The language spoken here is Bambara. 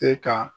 Se ka